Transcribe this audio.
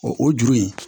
O o juru in